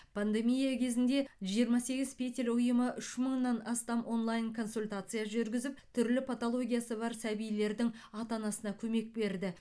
пандемия кезінде жиырма сегіз петель ұйымы үш мыңнан астам онлайн консультация жүргізіп түрлі патологиясы бар сәбилердің ата анасына көмек берді